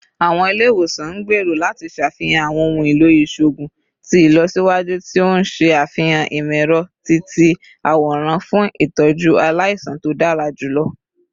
Awọn ile-iwosan n gbero lati ṣafihan awọn ohun elo iṣoogun ti ilọsiwaju ti o n ṣe afihan imọ-ẹrọ-ti-ti-aworan fun itọju alaisan to dara julọ